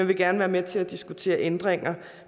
vil gerne være med til at diskutere ændringer